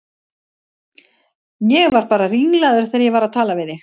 Ég var bara ringlaður þegar ég var að tala við þig.